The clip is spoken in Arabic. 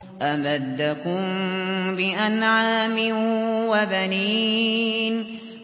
أَمَدَّكُم بِأَنْعَامٍ وَبَنِينَ